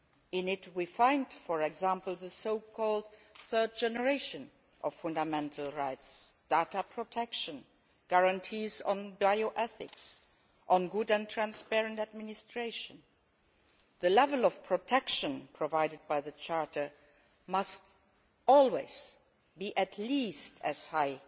In it we find, for example, the so called third generation of fundamental rights data protection, guarantees on bioethics, on good and transparent administration. The level of protection provided by the Charter must always be at least as high